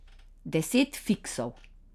Deset fiksov.